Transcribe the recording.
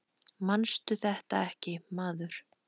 Manstu þetta ekki, maður.